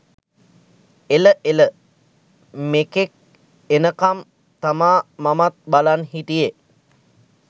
එළ එළ මෙකෙක් එනකම් තමා මමත් බලන් හිටියෙ.